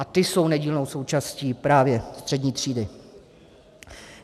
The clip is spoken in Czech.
A ti jsou nedílnou součástí právě střední třídy.